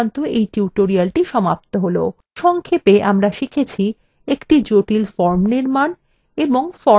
সংক্ষেপ আমরা শিখেছি